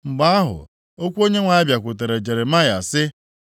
Mgbe ahụ, okwu Onyenwe anyị bịakwutere Jeremaya, sị,